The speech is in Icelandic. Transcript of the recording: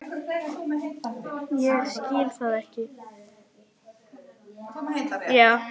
Ég skil það ekki!